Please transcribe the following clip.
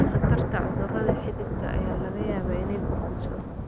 Khatarta cudurrada xididka ayaa laga yaabaa inay kordhiso.